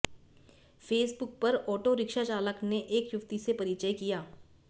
Facebook पर autorickshaw चालक ने एक युवती से परिचय किया